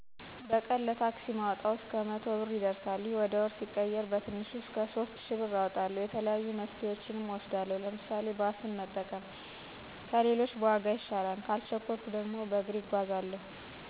በቀን ለታክሲ ማወጣው እስከ መቶ ብር ይደርሳል። ይህ ወደ ወር ሲቀየር በትንሹ እስከ ሶስት እሽ ብር አወጣለሁ። የተለያዩ መፍትሄወችን እወስዳለሁ። ለምሳሌ፦ ባስን መጠቀም ከሌሎች በዋጋ ይሻላል። ካልቸኮልሁ እና በጣም አስፈላጊ ካልሆ በስተቀር በእግር መጓዝ። አብዛኛው የእኛ ማህበረሰብ ታክሲ ተጠቃሚ ስለሆ ከወጭው ባለፈ መጉላላትም አለ። ስለዚህ የተለያዩ አማራጮችን መጠቀም ግዴታ ነው። እንደ ሳይክል፣ ሞተር፣ ፈረስ እና በቅሎ ያሉ መጓጓዣወችን መጠቀም አለበት።